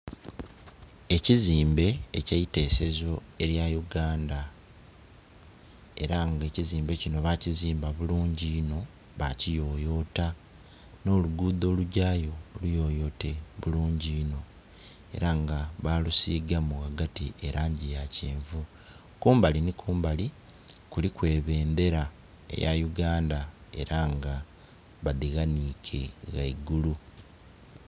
Ekizimbe ekyeitesezo eya Uganda era nga ekizimbe kino bakizimba bulungi inho bakiyoyota no luguudho olugya yo luyoyote bulungi inho era nga balusigaamu wagati elangi eya kyenvu. Kumbali ni kumbali kuliku ebendera eya Uganda era nga badiwanike waigulu